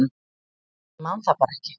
Ég man það bara ekki